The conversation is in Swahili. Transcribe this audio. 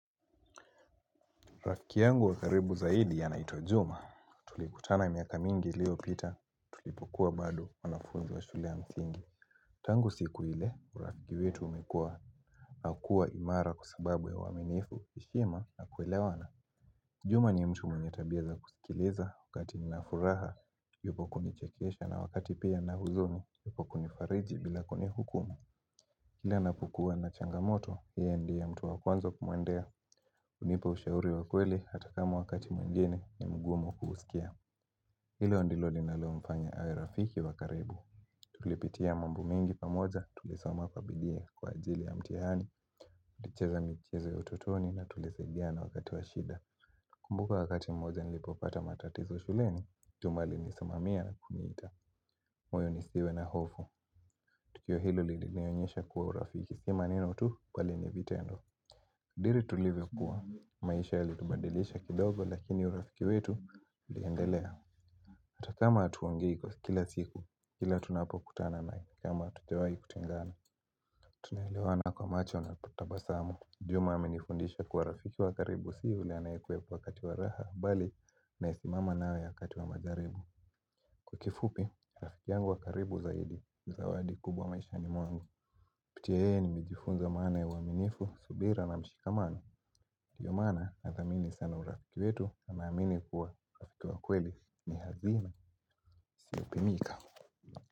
Rafiki wangu wa karibu zaidi anaitwa juma, tulikutana miaka mingi iliopita tulipokua bado wanafunzi wa shule ya msingi. Tangu siku ile, urafiki wetu umekua, na kua imara kwa sababu ya uaminifu, heshima na kuelewana. Juma ni mtu mwenye tabia za kusikiliza, wakati nina furaha, yupo kunichekesha na wakati pia nina huzuni, yupo kunifariji bila kuni hukumu. Kila ninapokua na changamoto, yeye ndie mtu wakwanza kumwendea hunipa ushauri wa kweli hata kama wakati mwingine ni mgumu kuuusikia Hilo ndilo linalo mfanya awe rafiki wa karibu Tulipitia mambo mengi pamoja, tulisoma kabidii kwa ajili ya mtihani Tulicheza michezo ya utotoni na tulisaidiana wakati wa shida nakumbuka wakati mmoja nilipopata matatizo shuleni, juma alinisimamia kuniita moyo nisiwe na hofu Tukio hilo linionyesha kuwa urafiki. Sio maneno tu kweli ni vitendo. Diri tulivyo kuwa. Maisha yalitubadilisha kidogo lakini urafiki wetu uliendelea. Hatakama hatuongei kwa kila siku. Kila tunapokutana naye ni kama hatujawahi kutengana. Tunaelewana kwa macho na kutabasamu. Juma amenifundisha kuwa urafiki wakaribu. Si yule anayekuwepo wakati wa raha bali ni anayesimama nawe wakati wa majaribu. Kwa kifupi, rafiki yangu wa karibu zaidi. Zawadi kubwa maishani mwangu.kupitia yeye nimejifunza maana wa uaminifu, subira na mshikamano ndio maana na dhamini sana urafiki wetu na naamini kuwa urafiki wa kweli ni hazina isio pimika.